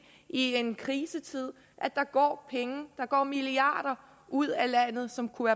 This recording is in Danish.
i en krisetid at der går penge der går milliarder ud af landet som kunne